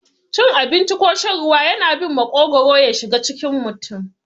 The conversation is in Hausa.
Cin abinci ko shan ruwa yana bin maƙogwaro yashiga cikin mutum.